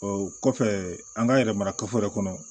O kɔfɛ an ka yɛrɛ mara kafo yɛrɛ kɔnɔ